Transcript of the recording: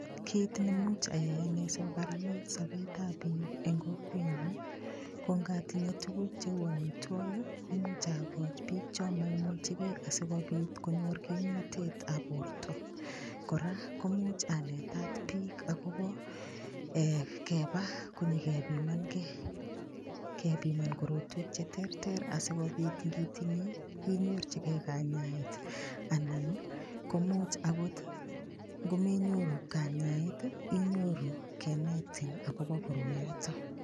Kit nemuch ayai sigogaranit sobetab biik eng kokwenyu ko ngatinye tuguk cheu amitwogik, imuch agochi biik chomoimuchegei asigopit konyor kimnatetab borto. Kora ko imuch anetat biik agobo ee keba konyegepimangei, kepiman korotwek cheterter asigopit ngitinyei inyorchigei kanyaet anan komuch agot ngomenyoru kanyaet, inyoru kenetin agobo koroiyoto.